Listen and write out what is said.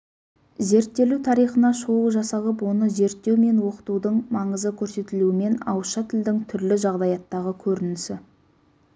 зерттелу тарихына шолу жасалып оны зерттеу мен оқытудың маңызы көрсетілуімен ауызша тілдің түрлі жағдаяттағы көрінісі